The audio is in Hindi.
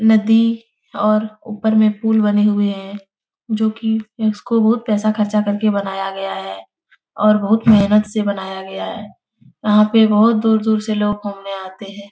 नदी और ऊपर में पुल बने हुए हैं जो की इसको बहुत पैसा खर्चा करके बनाया गया है और बहुत मेहनत से बनाया गया है। यहाँ पे बहुत दूर- दूर से लोग घूमने आते हैं।